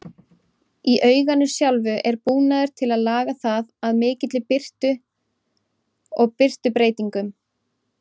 Í auganu sjálfu er búnaður til að laga það að mikilli birtu og birtubreytingum.